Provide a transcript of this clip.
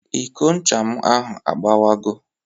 Iko ncha m ahụ agbawago